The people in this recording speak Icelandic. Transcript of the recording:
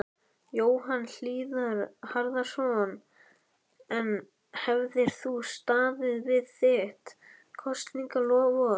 Jóhann Hlíðar Harðarson: En hefðir þú staðið við þitt kosningaloforð?